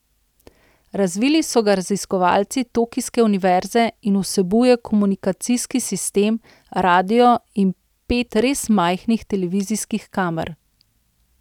Razvili so ga raziskovalci tokijske univerze in vsebuje komunikacijski sistem, radio in pet res majhnih televizijskih kamer.